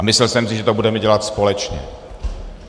A myslel jsem si, že to budeme dělat společně.